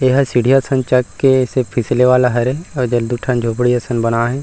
एहा सीढिया असन चघ के अइसे फिसले वाला हरे अउ एदे दू ठन झोपडी असन बना हे।